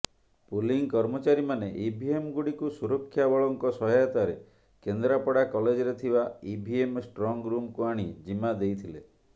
polling କର୍ମଚାରୀମାନେ EVM ଗୁଡ଼ିକୁ ସୁରକ୍ଷାବଳଙ୍କ ସହାୟତାରେ କେନ୍ଦ୍ରାପଡ଼ା କଲେଜରେ ଥିବା ଇଭିଏମ୍ ଷ୍ଟ୍ରଙ୍ଗରୁମକୁ ଆଣି ଜିମା ଦେଇଥିଲେ